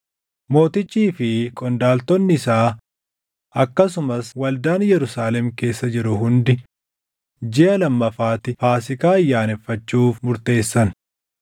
Mootichii fi qondaaltonni isaa akkasumas waldaan Yerusaalem keessa jiru hundi jiʼa lammaffaatti Faasiikaa ayyaaneffachuuf murteessan.